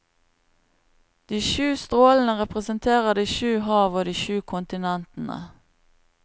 De sju strålene representerer de sju hav og de sju kontinentene.